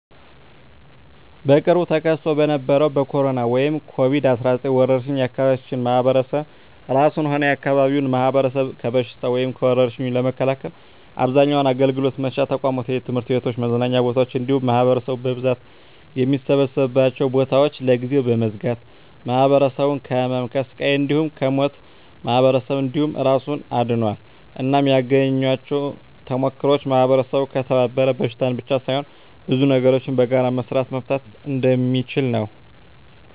በቅርቡ ተከስቶ በነበረዉ በኮሮና(ኮቪድ 19) ወረርሽ የአካባቢያችን ማህበረሰብ እራሱንም ሆነ የአካባቢውን ማህበረሰብ ከበሽታዉ (ከወርሽኙ) ለመከላከል አብዛኛዉን አገልግሎት መስጫ ተቋማት(ትምህርት ቤቶችን፣ መዝናኛ ቦታወችን እንዲሁም ማህበረሰቡ በብዛት የሚሰበሰብባቸዉን ቦታወች) ለጊዜዉ በመዝጋት ማህበረሰቡን ከህመም፣ ከስቃይ እንዲሁም ከሞት ማህበረሰብን እንዲሁም እራሱን አድኗል። እናም ያገኘኋቸዉ ተሞክሮወች ማህበረሰቡ ከተባበረ በሽታን ብቻ ሳይሆን ብዙ ነገሮችን በጋራ በመስራት መፍታት እንደሚችል ነዉ።